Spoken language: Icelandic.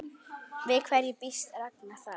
Við hverju býst Ragnar þar?